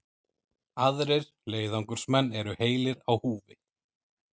Aðrir leiðangursmenn eru heilir á húfi